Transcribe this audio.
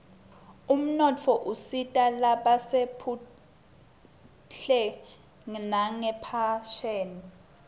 umnotfo usita lasebhtuhle ngenpheshebi